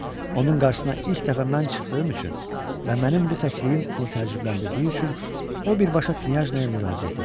Onun qarşısına ilk dəfə mən çıxdığım üçün və mənim bu təkliyim onu təəccübləndirdiyi üçün o birbaşa knyajnaya müraciət etdi.